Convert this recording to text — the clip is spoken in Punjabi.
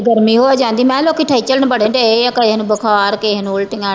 ਗਰਮੀ ਹੋ ਜਾਂਦੀ ਮੈਂ ਕਿਹਾ ਲੋਕੀ ਬੜੇ ਡਏ ਆ ਕਹਿਣ ਬੁਖਾਰ ਕਿਸੇ ਨੂੰ ਉੁੱਲਟੀਆਂ